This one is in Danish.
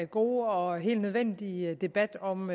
gode og helt nødvendige debat om